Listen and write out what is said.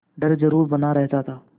डर जरुर बना रहता था